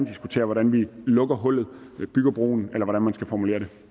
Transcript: diskutere hvordan vi lukker hullet bygger broen eller hvordan man skal formulere det